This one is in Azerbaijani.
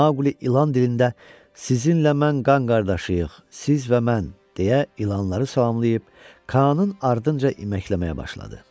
Maqli ilan dilində, “Sizinlə mən qan qardaşıyıq, siz və mən”, deyə ilanları salamlayıb, Kaanın ardınca iməkləməyə başladı.